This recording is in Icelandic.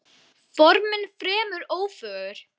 Formin fremur ófögur.